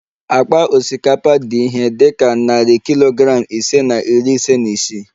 Akpa osikapa dị ihe dị ka narị kilogram ise na iri ise na isii